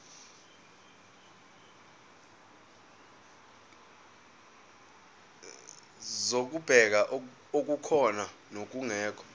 zokubheka okukhona nokungekho